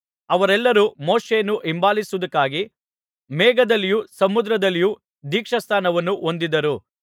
ಅವರೆಲ್ಲರೂ ಮೋಶೆಯನ್ನು ಹಿಂಬಾಲಿಸುವುದಕ್ಕಾಗಿ ಮೇಘದಲ್ಲಿಯೂ ಸಮುದ್ರದಲ್ಲಿಯೂ ದೀಕ್ಷಾಸ್ನಾನವನ್ನು ಹೊಂದಿದರು